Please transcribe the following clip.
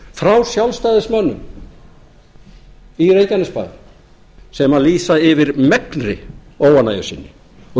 frá sjálfstæðismönnum í reykjanesbær sem lýsa yfir megnri óánægju sinni og